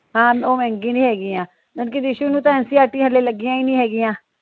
ਹਾਂ ਉਹ ਮਹਿੰਗੀ ਨਹੀਂ ਹੇਗੀਆਂ ਦੀਸ਼ੁ ਨੂੰ ਤਾ ncert ਹਲੇ ਲਗੀਆ ਈ ਨਹੀਂ ਹੇਗੀਆਂ।